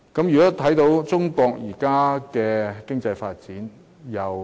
我們看看中國現時的經濟發展。